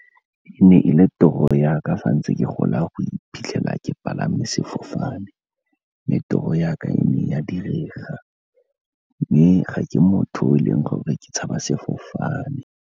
E ne e le toro yaka sa ntse ke gola go iphitlhela ke palame sefofane, mme toro yaka e ne ya direga, mme ga ke motho yo e leng gore ke tshaba sefofane.